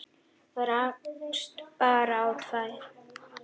Rakst bara á tvær.